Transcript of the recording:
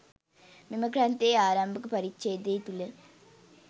මෙම ග්‍රන්ථයේ ආරම්භක පරිච්ඡේද තුළ